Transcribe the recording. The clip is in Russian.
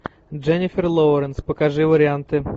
дженнифер лоуренс покажи варианты